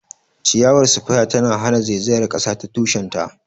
Ciyawar spear tana hana zaizayar kasa ta tushen ta.